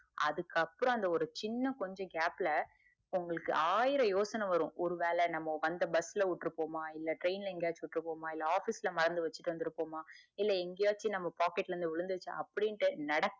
அதுக்கு அப்புறம் அந்த சின்ன ஒரு gap ல உங்களுக்கு ஆயிரம் யோசனை வரும் ஒரு வேலை நம்ம வந்த bus ல விட்ருவோமா இல்ல train எங்கேயாச்சும் விட்ருவோமா இல்ல office ல மறந்து வச்சிட்டு வந்துருப்போமா இல்ல எங்கேயாச்சும் பாக்கெட்ல இருந்து விழுந்துருச்சா அப்புடின்னுடு நெறைய